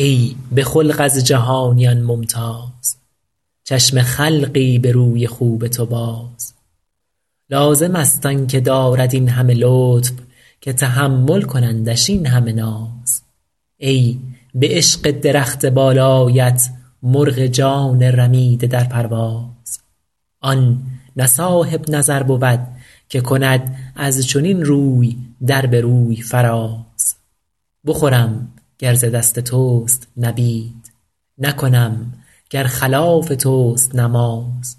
ای به خلق از جهانیان ممتاز چشم خلقی به روی خوب تو باز لازم است آن که دارد این همه لطف که تحمل کنندش این همه ناز ای به عشق درخت بالایت مرغ جان رمیده در پرواز آن نه صاحب نظر بود که کند از چنین روی در به روی فراز بخورم گر ز دست توست نبید نکنم گر خلاف توست نماز